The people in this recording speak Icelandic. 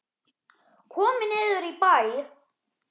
Komum niður í bæ!